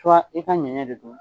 i ka ɲɛɲɛ de don